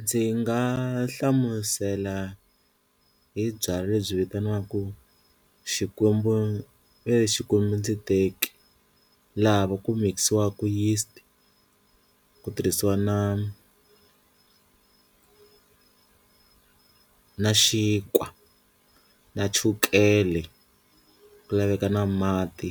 Ndzi nga hlamusela hi byalwa lebyi vitaniwaku xikwembu veri xikwembu ndzi teki, laha ku mikisiwaku yeast ku tirhisiwa na na xinkwa na chukele ku laveka na mati